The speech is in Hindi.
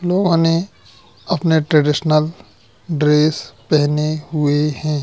उन्होंने अपने ट्रेडिशनल ड्रेस पहने हुए है।